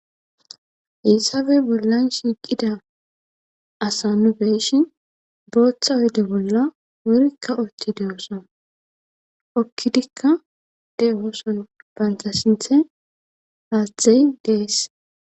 Heysape bollan shiiqida asa nu be7ishin booththa oyde bolla wurikka uththididaashana; hokkidikka de7oosona; banththa sinththen haaththay de7ees.